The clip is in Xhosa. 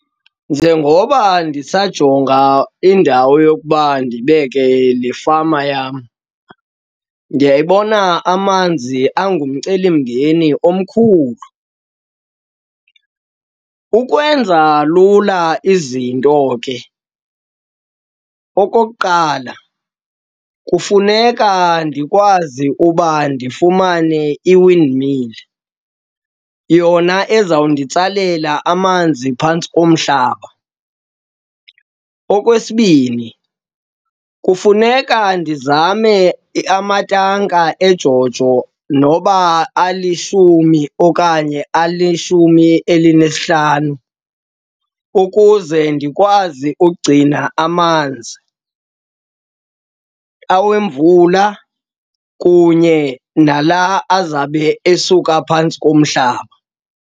Njengoba ndisajonga indawo yokuba ndibeke le fama yam, ndiyayibona amanzi angumcelimngeni omkhulu. Ukwenza lula izinto ke, okokuqala kufuneka ndikwazi uba ndifumane i-windmill, yona ezawunditsalela amanzi phantsi komhlaba. Okwesibini, kufuneka ndizame amatanka eJoJo noba alishumi okanye alishumi elinesihlanu ukuze ndikwazi ugcina amanzi, awemvula kunye nala azabe esuka phantsi komhlaba.